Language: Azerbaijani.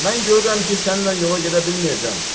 Mən görürəm ki, sənnən yola gedə bilməyəcəm.